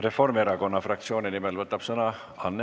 Reformierakonna fraktsiooni nimel võtab sõna Anne Sulling.